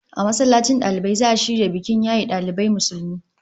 A masallacin dalibai za'a shirya bikin yaye dalibai Musulmi